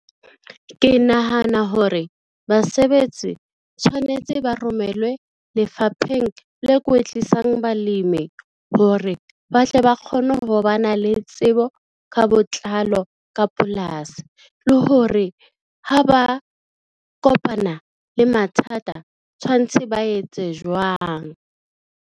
Ke nahana hore basebetsi tshwanetse ba romelwe lefapheng le kwetlisang balemi hore ba tle ba kgone ho ba na le le tsebo ka botlalo ka polasi le hore ha ba kopana le mathata tshwanetse ba etse jwang.